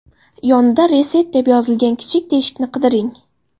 Yonida Reset deb yozilgan kichik teshikni qidiring.